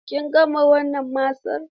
Kin gama wannan masan?